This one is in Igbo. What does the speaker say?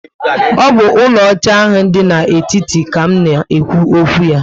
O bu úlò óchá ahụ dị n'etiti ka m na ekwu okwu ya